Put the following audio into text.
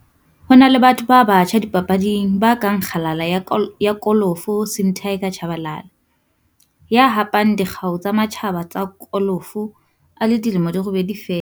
Ho na le batho ba batjha dipapading ba kang kgalala ya kolofo Sim 'Tiger' Tshabalala, ya hapang dikgau tsa matjhaba tsa kolofo a le dilemo di robedi feela.